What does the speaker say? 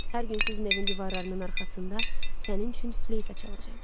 Hər gün sizin evin divarlarının arxasında sənin üçün fleyta çalacam.